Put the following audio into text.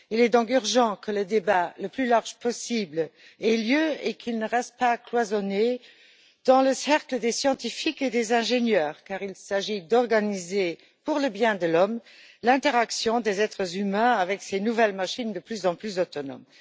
Il est donc urgent que le débat le plus large possible ait lieu et qu'il ne reste pas cloisonné dans le cercle des scientifiques et des ingénieurs, car il s'agit d'organiser, pour le bien de l'homme, l'interaction des êtres humains avec ces nouvelles machines de plus en plus autonomes.